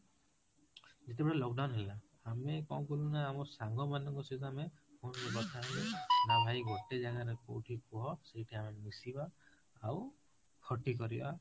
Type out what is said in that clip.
ଯେତେବଳେ lockdown ହେଲା ଆମେ କଣ କଲୁ ନା ଆମ ସାଙ୍ଗ ମାନଙ୍କ ସହିତ ଆମେ phone ରେ କଥା ହେଲୁ ନା ଭାଇ ଗୋଟେ ଜାଗାରେ କୋଉଠି କୁହ ସେଇଠି ଆମେ ମିଶିବା ଆଉ ଖଟି କରିବା